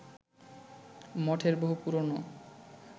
মঠের বহু পুরানো